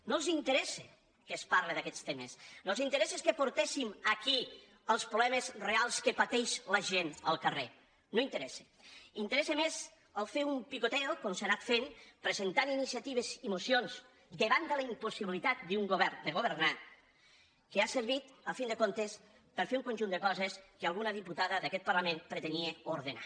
no els interessa que es parle d’aquests temes no els interessa que portéssim aquí els problemes reals que pateix la gent al carrer no interessa interessa més fer un picoteofent presentant iniciatives i mocions davant de la impossibilitat d’un govern de governar que ha servit a fi de comptes per fer un conjunt de coses que alguna diputada d’aquest parlament pretenia ordenar